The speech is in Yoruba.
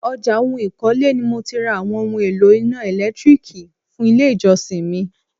ọjà oun ìkọ́lé ni mo ti ra àwọn oún èlò iná ẹ̀lẹ́tírìkì fún ilé ìjọsìn mi.